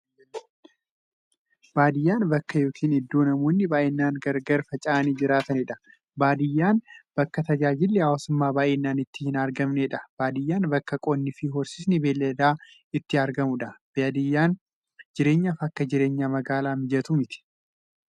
Baadiyyaan bakka yookiin iddoo namoonni baay'inaan gargar faca'anii jiraataniidha. Baadiyyaan bakka tajaajilli hawwaasummaa baay'inaan itti hin argamneedha. Baadiyyaan bakka qonnifi horsiisni beeyladaa itti argamuudha. Baadiyyaan jireenyaaf akka jireenya magaalaa mijattuu miti.